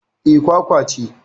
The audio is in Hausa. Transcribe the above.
Eh, kwakwal ce